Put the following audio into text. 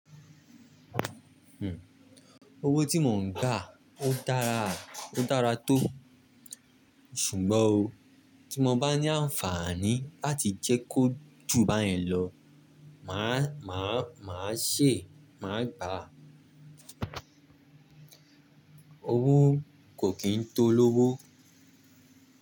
Hmm. Owó tí mo ń gbá ó dára, ó dára tó. Ṣùgbọ́n o, tí mo bá ní àǹfààní láti jẹ́ kó jù báyẹn lọ, màá, màá, màá ṣè, màá gbà á. Owó kò kí ń tó lówó.